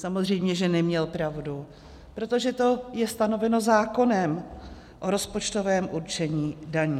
Samozřejmě že neměl pravdu, protože to je stanoveno zákonem o rozpočtovém určení daní.